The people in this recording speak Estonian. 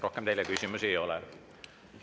Rohkem teile küsimusi ei ole.